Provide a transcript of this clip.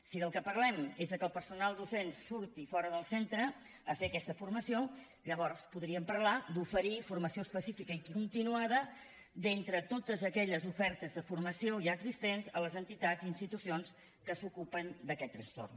si del que parlem és de que el personal docent surti fora del centre a fer aquesta formació llavors podríem parlar d’oferir formació específica i continuada d’entre totes aquelles ofertes de formació ja existents a les entitats i institucions que s’ocupen d’aquest trastorn